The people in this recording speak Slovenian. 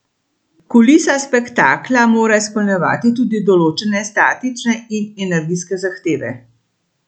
Kulisa spektakla mora izpolnjevati tudi določene statične in energijske zahteve.